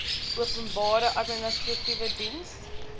openbare administratiewe diens